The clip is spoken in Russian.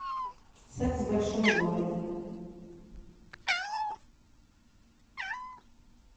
секс в большом городе